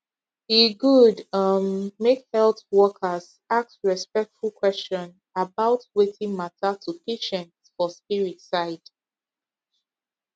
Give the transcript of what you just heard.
e good um make health workers ask respectful question about wetin matter to patient for spirit side